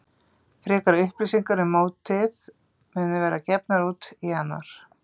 Frekari upplýsingar um mótið munu verða gefnar út í janúar.